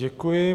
Děkuji.